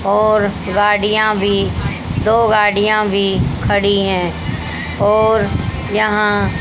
और गाड़ियां भी दो गाड़ियां भी खड़ी है और यहां--